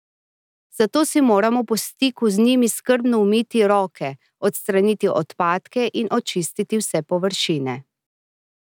Zato si moramo po stiku z njimi skrbno umiti roke, odstraniti odpadke in očistiti vse površine.